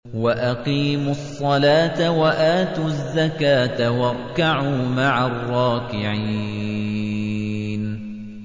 وَأَقِيمُوا الصَّلَاةَ وَآتُوا الزَّكَاةَ وَارْكَعُوا مَعَ الرَّاكِعِينَ